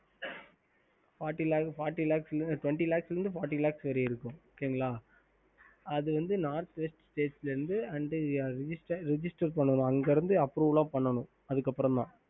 ஹம்